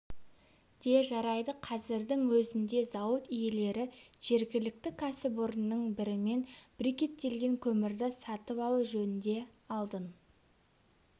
де жарайды қазірдің өзінде зауыт иелері жергілікті кәсіпорынның бірімен брикеттелген көмірді сатып алу жөнінде алдын